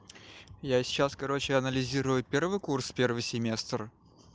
я сейчас короче анализирую первый курс первый семестр